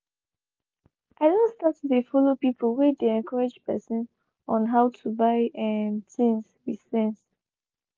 i don start to dey follow people whey dey encourage person on how to buy um things with sense.